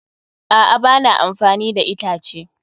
A'a, ba na amfani da itace.